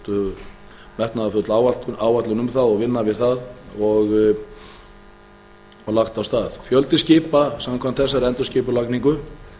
sett metnaðarfull áætlun um það og vinna við það og lagt af stað fjöldi skipa samkvæmt þessari endurskipulagningu